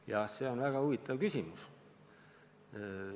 Jah, see on väga huvitav küsimus.